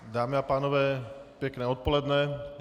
Dámy a pánové, pěkné odpoledne.